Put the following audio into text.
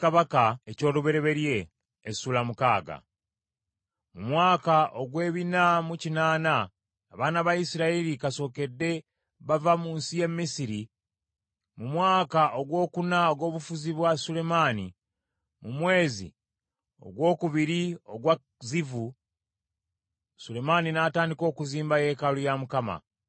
Mu mwaka ogw’ebina mu kinaana, abaana ba Isirayiri kasookedde bava mu nsi y’e Misiri, mu mwaka ogwokuna ogw’obufuzi bwa Sulemaani, mu mwezi ogwokubiri ogwa Zivu , Sulemaani n’atandika okuzimba yeekaalu ya Mukama .